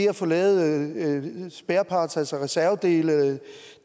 at få lavet spare parts altså reservedele